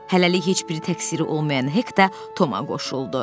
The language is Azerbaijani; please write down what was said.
Hələlik heç biri təqsiri olmayan Hek də Toma qoşuldu.